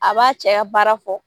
A b'a cɛ ya baara fɔ